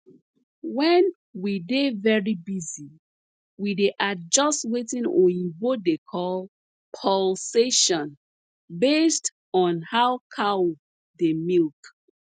wen we dey very busy we dey adjust wetin oyibo dey call pulsation based on how cow dey milk